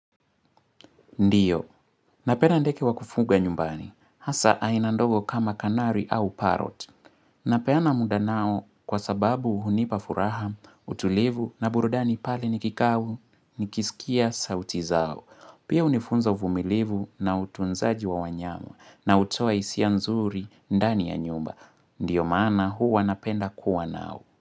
Ndio. Napenda ndeke wakufuga nyumbani. Hasa ainandogo kama kanari au parot. Napeana muda nao kwa sababu hunipa furaha, utulivu na burudani pali nikikaa au nikisikia sauti zao. Pia unifunza uvumilivu na utunzaji wa wanyamu na hutoa isia nzuri ndani ya nyumba. Ndio maana hua napenda kuwa nao.